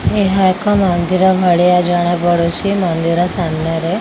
ଏହା ଏକ ମନ୍ଦିର ଭଳିଆ ଜଣାପଡ଼ୁଛି। ମନ୍ଦିର ସାମ୍ନାରେ --